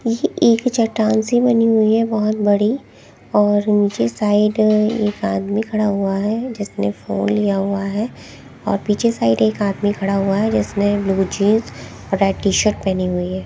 ये एक चट्टान सी बनी हुई है बहुत बड़ी और नीचे साइड एक आदमी खड़ा हुआ है जिसने फोन लिया हुआ है और पीछे साइड एक आदमी खड़ा हुआ है जिसने ब्लू जींस और रेड टी शर्ट पहनी हुई है।